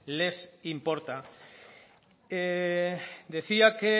les importa decía que